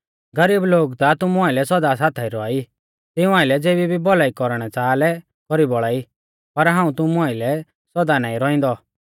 गरीब लोग ता तुमु आइलै सौदा साथाई रौआ ई तिऊं आइलै ज़ेबी भी भौलाई कौरणै च़ाहा लै कौरी बौल़ा ई पर हाऊं तुमु आइलै सौदा नाईं रौइंदौ